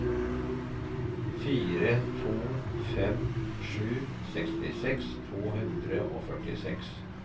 fire to fem sju sekstiseks to hundre og førtiseks